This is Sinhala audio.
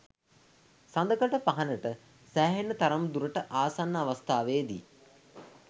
සඳකඩ පහණට සෑහෙන තරම් දුරට ආසන්න අවස්ථාවේදී